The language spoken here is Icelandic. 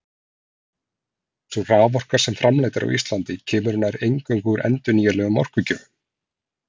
Sú raforka sem framleidd er á Íslandi kemur nær eingöngu úr endurnýjanlegum orkugjöfum.